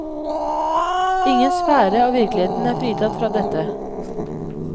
Ingen sfære av virkeligheten er fritatt fra dette.